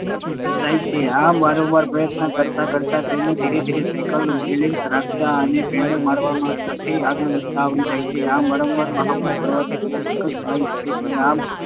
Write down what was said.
જાય છે. આમ, વારંવાર પ્રયત્ન કરતાં કરતાં તેને ધીરે ધીરે સાયકલ પર બેલેન્સ રાખતાં અને પેડલ મારવા સાથે આગળ વધતાં આવડી જાય છે. આમ, વારંવાર મહાવરો કરવાથી તે સાયકલ ચલાવી શકે છે. આમ